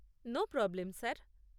No problem sir.